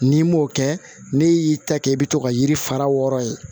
N'i m'o kɛ n'e y'i ta kɛ i bɛ to ka yiri fara wɔɔrɔ ye